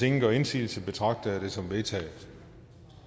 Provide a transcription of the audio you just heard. ingen gør indsigelse betragter jeg det som vedtaget